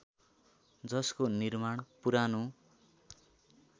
जसको निर्माण पुरानो